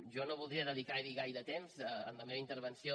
jo no voldria dedicar hi gaire temps en la meva intervenció